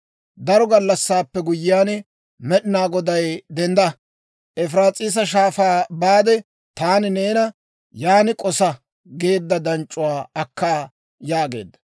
Daro gallassaappe guyyiyaan Med'inaa Goday, «Dendda; Efiraas'iisa Shaafaa baade, taani neena, ‹Yaan k'osa› geedda danc'c'uwaa akka» yaageedda.